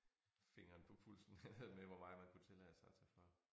Fingeren på pulsen øh med hvor meget man kunne tillade sig at tage for